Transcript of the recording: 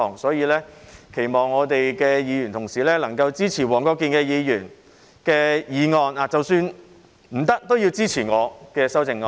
因此，期望議員同事能夠支持黃國健議員的修正案，而即使不支持他，也要支持我的修正案。